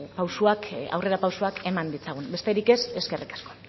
pausuak aurrera pausuak eman ditzagun besterik ez eskerrik asko